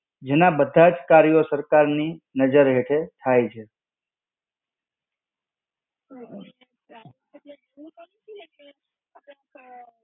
જેના બધા જ કર્યો સરકાર ની નજર હેઠળ થાય છે.